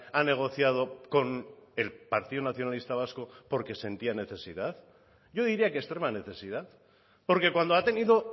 ha negociado con el partido nacionalista vasco porque sentía necesidad yo diría que extrema necesidad porque cuando ha tenido